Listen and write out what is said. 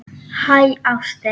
Hæ, ástin.